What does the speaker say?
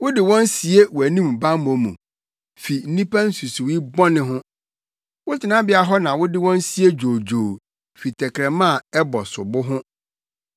Wode wɔn sie wʼanim bammɔ mu fi nnipa nsusuwii bɔne ho; wo tenabea hɔ na wode wɔn sie dwoodwoo fi tɛkrɛma a ɛbɔ sobo ho.